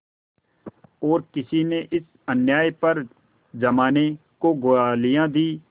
और किसी ने इस अन्याय पर जमाने को गालियाँ दीं